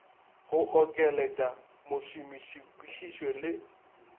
go okeletša mošomiši kwišišo le